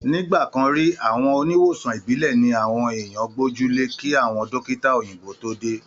Ní ìgbàkan rí, àwọn oníwòsàn ìbílẹ̀ ni àwọn èèyàn gbójú le kí àwọn dọ́kítà òyìnbó tó dé